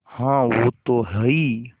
हाँ वो तो हैं ही